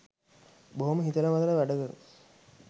බොහොම හිතල මතල වැඩ කරන